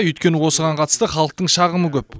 өйткені осыған қатысты халықтың шағымы көп